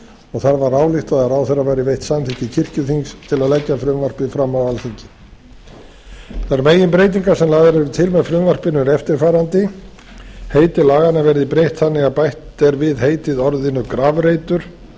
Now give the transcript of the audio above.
og þá var ályktað að ráðherra væri veitt samþykki kirkjuþings til að leggja frumvarpið fram á alþingi þær meginbreytingar sem lagðar eru til með frumvarpinu eru eftirfarandi heiti laganna verði breytt þannig að bætt er við heitið orðinu grafreitur